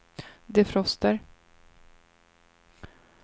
defroster